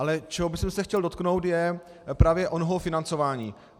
Ale čeho bych se chtěl dotknout, je právě onoho financování.